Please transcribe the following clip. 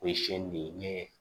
O ye sin di ne